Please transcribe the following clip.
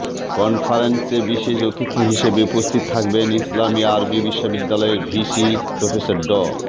কনফারেন্সে বিশেষ অতিথি হিসেবে উপস্থিত থাকবেন ইসলামি আরবি বিশ্ববিদ্যালয়ের ভিসি প্রফেসর ড